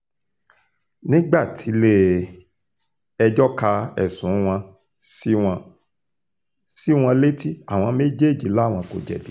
nígbà tilé-ẹjọ́ ka ẹ̀sùn wọn sí wọn sí wọn létí àwọn méjèèjì làwọn kò jẹ̀bi